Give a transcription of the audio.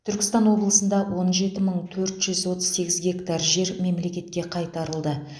түркістан облысында он жеті мың төрт жүз отыз сегіз гектар жер мемлекетке қайтарылды